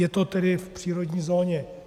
Je to tedy v přírodní zóně.